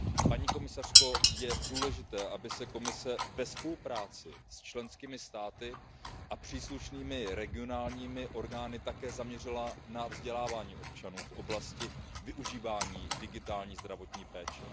Paní komisařko, je důležité, aby se Komise ve spolupráci s členskými státy a příslušnými regionálními orgány také zaměřila na vzdělávání občanů v oblasti využívání digitální zdravotní péče.